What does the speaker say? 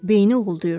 Beyni oğuldayırdı.